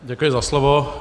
Děkuji za slovo.